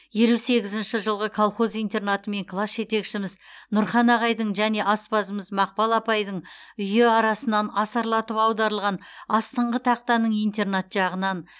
елу сегізінші жылғы колхоз интернаты мен класс жетекшіміз нұрхан ағайдың және аспазымыз мақпал апайдың үйі арасынан асарлатып аударылған астыңғы тақтаның интернат жағынан